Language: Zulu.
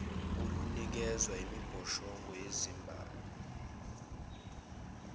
olunikezwa imibhoshongo yezibani